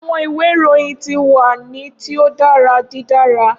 Awọn iwe irohin ti wa ni ti o dara didara.